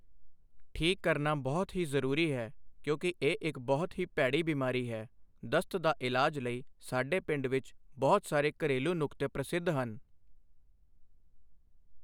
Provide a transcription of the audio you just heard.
ਠੀਕ ਕਰਨਾ ਬਹੁਤ ਹੀ ਜ਼ਰੂਰੀ ਹੈ ਕਿਉਂਕਿ ਇਹ ਇੱਕ ਬਹੁਤ ਹੀ ਭੈੜੀ ਬਿਮਾਰੀ ਹੈ ਦਸਤ ਦਾ ਇਲਾਜ ਲਈ ਸਾਡੇ ਪਿੰਡ ਵਿੱਚ ਬਹੁਤ ਸਾਰੇ ਘਰੇਲੂ ਨੁਕਤੇ ਪ੍ਰਸਿੱਧ ਹਨ।